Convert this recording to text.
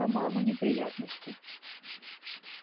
по-моему неприятности